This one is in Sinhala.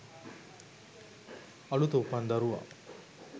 "අලුත උපන් දරුවා